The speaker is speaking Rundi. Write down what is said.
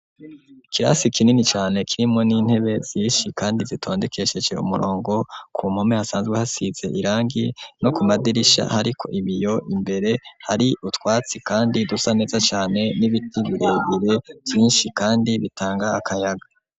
Ikirasi kinini cane kirimwo n'intebe zishi kandi zitondekeshese umurongo ku mpome hasanzwe hasize irangi no ku madirisha hariko ibiyo imbere hari utwatsi kandi dusa neza cane n'ibiti birebire vyishi kandi bitanga akayaga.